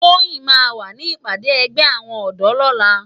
Toyin má wá ni ipàdé ègbè áwòn òdò lòlá